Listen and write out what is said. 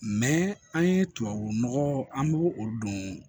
an ye tubabu nɔgɔ an b'o o don